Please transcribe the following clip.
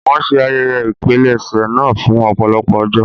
Wọn ṣe ayẹyẹ ìpilẹ̀ṣẹ̀ naa fun ọpọlọpọ ọjọ